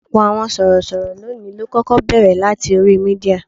Ọ̀pọ̀ àwọn sorosoro lónìí ló kọ́kọ́ bẹ̀rẹ̀ láti orí Mídíà.